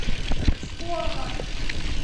псковом